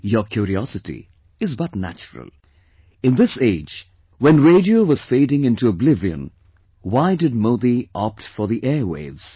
Your curiosity is but natural; in this age when Radio was fading into oblivion, why did Modi opt for the airwaves